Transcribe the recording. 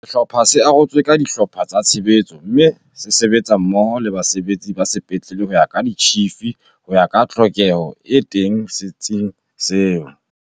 Sehlopha se arotswe ka dihlopha tsa tshebetso mme se sebetsa mmoho le basebetsi ba sepetlele ho ya ka ditjhifi, ho ya ka tlhokeho e teng se tsing seo.